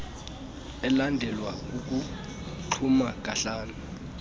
elandelwa kukuxhuma kahlanu